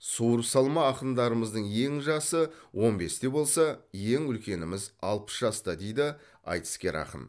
суырып салма ақындарымыздың ең жасы он бесте болса ең үлкеніміз алпыс жаста дейді айтыскер ақын